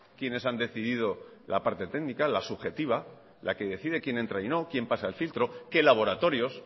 quienes han decidido la parte técnica la subjetiva la que decide quién entra y no quién pasa el filtro qué laboratorios